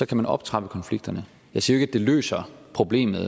kan optrappe konflikterne jeg siger ikke at det løser problemet